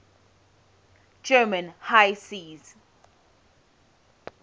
german high seas